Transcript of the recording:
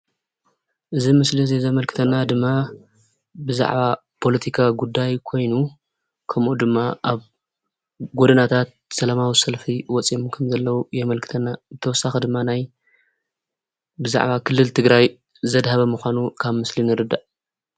እዚ ምስሊ እዚ ዘመልክተና ድማ ብዛዕባ ፖለቲካዊ ጉዳይ ኮይኑ ከምኡ ድማ ኣብ ጎዳናታት ሰላማዊ ሰልፊ ወፂኦም ከምዘለዉ የመልክተና፡፡ ብተወሳኺ ድማ ናይ ብዛዕባ ክልል ትግራይ ዘድሃበ ምዃኑ ካብ ምስሊ ንርዳእ፡፡